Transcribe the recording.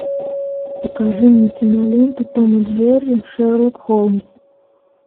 покажи мне киноленту том и джерри шерлок холмс